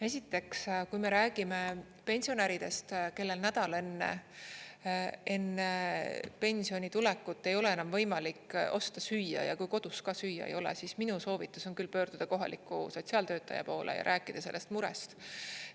Esiteks, kui me räägime pensionäridest, kellel nädal enne pensioni tulekut ei ole enam võimalik osta süüa, ja kui kodus ka süüa ei ole, siis minu soovitus on küll pöörduda kohaliku sotsiaaltöötaja poole ja rääkida sellest murest.